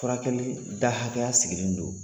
Furakɛli da hakɛya sigilen don.